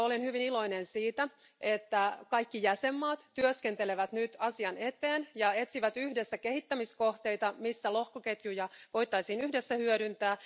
Olen hyvin iloinen siitä, että kaikki jäsenvaltiot työskentelevät nyt asian eteen ja etsivät yhdessä kehittämiskohteita, joissa lohkoketjuja voitaisiin yhdessä hyödyntää.